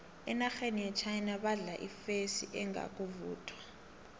enarheni yechina badla ifesi engakavuthwa